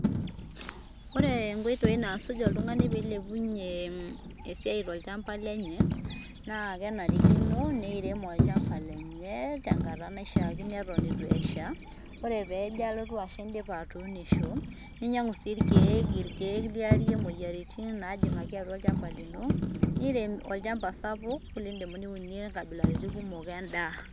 Ore nkoitoi naasuj oltung'ani pee eilepunye esiai tolchamba lenye, naa kenarikino neirem olchamba lenye tenkata naishiakino eton eitu esha, ore peejo alotu asha indipa atuunisho ninyang'u sii ilkeek, ilkeek liyarie moyiaritin naajing'aki atua olchamba lino niirem olchamba sapuk liindim niunie nkabilaritin kumok endaa.